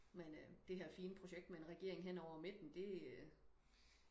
men øh det her fine projekt med en regering hen over midten det øh